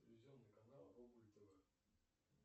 телевизионный канал рубль тв